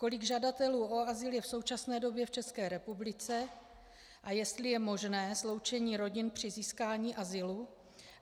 Kolik žadatelů o azyl je v současné době v České republice a jestli je možné sloučení rodin při získání azylu.